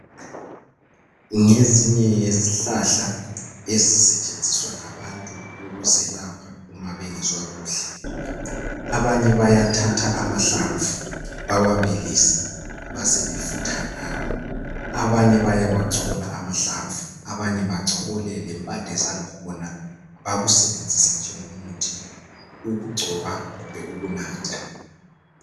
Ngezinye yezihlahla ezisetshenziswa ngabantu, ukuzelapha uma bengezwa kuhle. Abanye bayathatha amahlamvu bawabilise, basebefutha ngawo. Abanye bayawachola amahlamvu, abanye bachole lempande zakhona. Bakusebenzise njengomuthi, ukugcoba kumbe ukunatha.